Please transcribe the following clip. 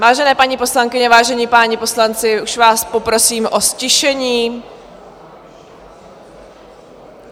Vážené paní poslankyně, vážení páni poslanci, už vás poprosím o ztišení.